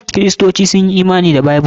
Kiristoci sun yi imani da Bible.